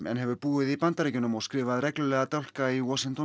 en hefur búið í Bandaríkjunum og skrifað reglulega dálka í Washington